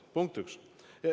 Punkt üks.